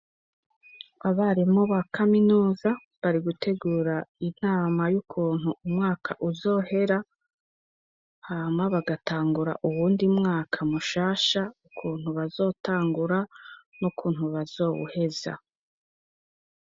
Abarimu ba kaminuza bari gutegura inama y'ukuntu umwaka uzohera, hama bagatangura uwundi mwaka mushasha, ukuntu bazotangura n'ukuntu bazowuheza.